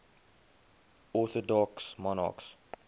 orthodox monarchs